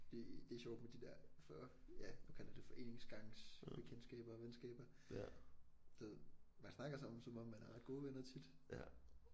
Det det er sjovt med de der for ja nu kalder jeg det foreningsgangsbekendtskaber og venskaber der man snakker sammen som om man er ret gode venner tit